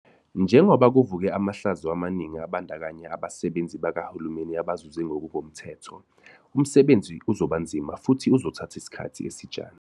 Njengoba kuvuke amahlazo amaningi abandakanya abasebenzi bakahulumeni abazuze ngokungemthetho, umsebenzi uzoba nzima futhi uzothatha isikhathi esijana.